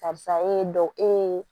Karisa e ye dɔ e ye